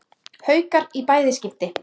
Haukar í bæði skipti.